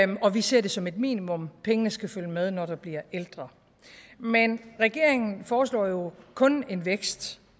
og vi ser det som et minimum pengene skal følge med når du bliver ældre men regeringen foreslår jo kun en vækst